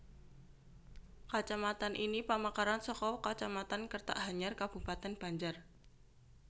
Kacamatan ini pamekaran saka Kacamatan Kertak Hanyar Kabupatèn Banjar